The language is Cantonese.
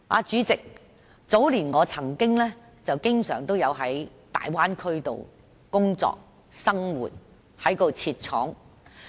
主席，我早年經常在大灣區工作和生活，因為我在當地設廠。